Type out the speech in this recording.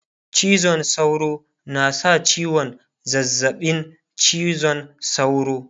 cizon sauro na sa ciwon zazzaɓin cizon sauro